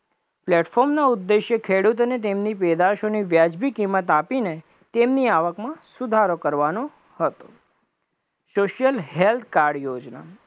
platform નો ઉદેશ્ય ખેડૂત અને તેમની પેદાશોની વ્યાજબી કિંમત આપીને તેમની આવકમાં સુધારો કરવાનો હતો, social help કાર યોજના